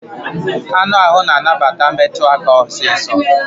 Anụ ahụ na anabata metụ aka osiso